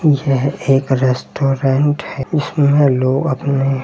यह एक रेस्टोरेंट है जीसमें लोग अपने --